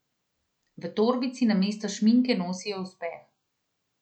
V torbici namesto šminke nosijo uspeh.